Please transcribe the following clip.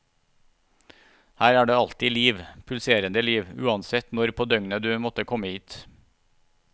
Her er det alltid liv, pulserende liv, uansett når på døgnet du måtte komme hit.